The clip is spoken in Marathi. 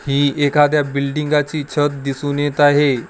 हि एखाद्या बिल्डिंगाची छत दिसत आहे.